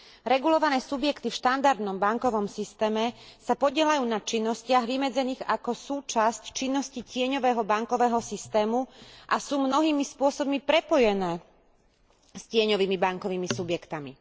Regulované subjekty v štandardnom bankovom systéme sa podieľajú na činnostiach vymedzených ako súčasť činnosti tieňového bankového systému a sú mnohými spôsobmi prepojené s tieňovými bankovými subjektmi.